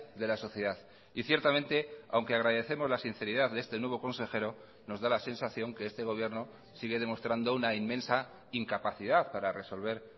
de la sociedad y ciertamente aunque agradecemos la sinceridad de este nuevo consejero nos da la sensación que este gobierno sigue demostrando una inmensa incapacidad para resolver